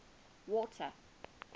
water